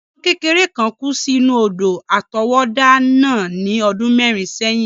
Ọmọ kékeré kán kú sí inú odò àtọwọ́dá náà ní ọdún mẹ́rin sẹ́yìn.